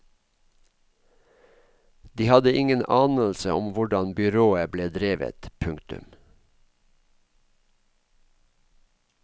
De hadde ingen anelse om hvordan byrået ble drevet. punktum